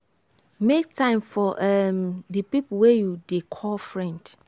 make time for um di pipo wey you dey call friend